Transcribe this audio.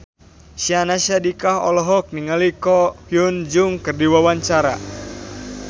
Syahnaz Sadiqah olohok ningali Ko Hyun Jung keur diwawancara